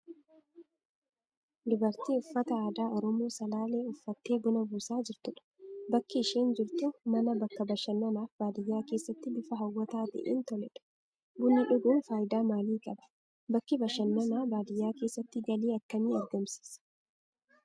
Dubartii uffata aadaa Oromoo Salaalee uffattee buna buusaa jirtudha. Bakki isheen jirtu mana bakka bashannanaaf baadiyaa keessatti bifa hawwataa ta'een toledha. Bunni dhuguun faayidaa maalii qaba? Bakki bashannanaa baadiyaa keessatti galii akkamii argamsiisa?